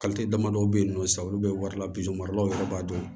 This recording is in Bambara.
damadɔ bɛ yen nɔ sisan olu bɛ wari la biso maralaw yɛrɛ b'a dɔn